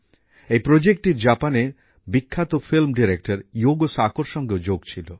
এই প্রজেক্টটির জাপানের বিখ্যাত ফিল্ম ডিরেক্টর য়ুগো সাকোর সঙ্গেও যোগ ছিল